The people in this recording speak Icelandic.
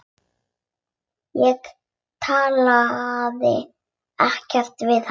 Ég talaði ekkert við hann.